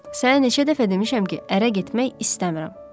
Sənə neçə dəfə demişəm ki, ərə getmək istəmirəm.